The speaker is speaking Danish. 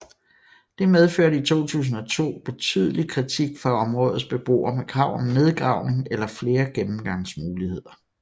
Det medførte i 2002 betydelig kritik fra områdets beboere med krav om nedgravning eller flere gennemgangsmuligheder